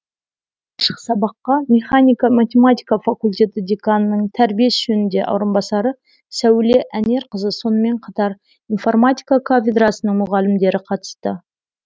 ашық сабаққа механика математика факультеті деканының тәрбие ісі жөніндені орынбасары сәуле әнерқызы сонымен қатар информатика кафедрасының мұғалімдері қатысты